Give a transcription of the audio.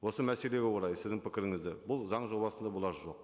осы мәселеге орай сіздің пікіріңізді бұл заң жобасында бұлар жоқ